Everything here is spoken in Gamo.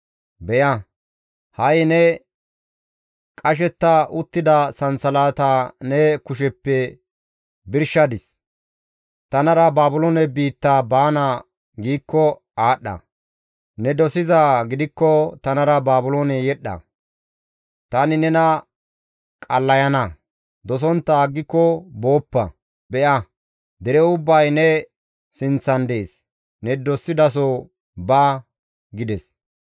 Beya, ha7i ne qashetta uttida sansalata ne kusheppe birshadis; tanara Baabiloone biitta baana giikko aadhdha; ne dosizaa gidikko tanara Baabiloone yedhdha; tani nena qallayana; ne dosontta aggiko booppa; be7a dere ubbay ne sinththan dees; ne dosidaso ba» gides.